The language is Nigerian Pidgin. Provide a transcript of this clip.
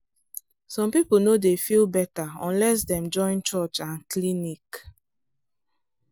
some people no dey feel better unless dem join church and clinic.